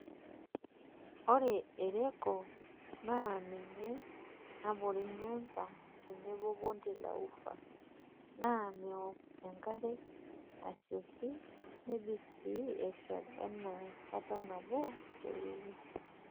Ore ereko naa ninye nabore Nyanza tenebo Bonde la Ufa naa meok enkare asioki nebik sii eshal naa kata nabo teweiki.